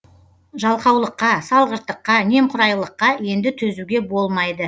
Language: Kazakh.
жалқаулыққа салғырттыққа немқұрайлыққа енді төзуге болмайды